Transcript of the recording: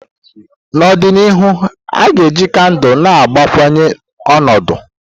N'ọdịnihu, a ka ga-eji kandụl na-agbakwunye ọnọdụ.